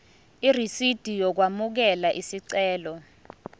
irisidi lokwamukela isicelo